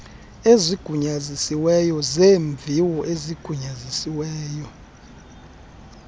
ezigunyazisiweyo zeemviwo ezigunyazisiweyo